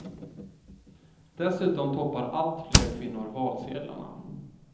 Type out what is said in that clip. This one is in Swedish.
Dessutom toppar allt fler kvinnor valsedlarna.